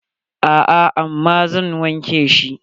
A'a, amma zan wanke shi.